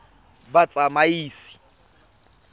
batsamaisi